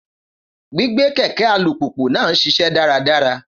Gbígbé kẹ̀kẹ́ alùpùpù náà ń ṣiṣẹ́ dáradára.